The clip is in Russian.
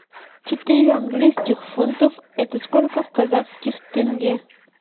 четыре английских фунтов это сколько в казахских тенге